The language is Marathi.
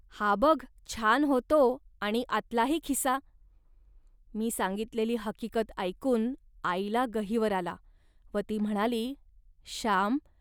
हा बघ छान होतो आणि आतलाही खिसा. मी सांगितलेली हकीकत ऐकून आईला गहिवर आला व ती म्हणाली, "श्याम